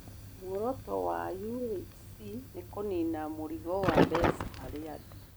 Muoroto wa UHC nĩ kũniina mũrigo wa mbeca harĩ andũ.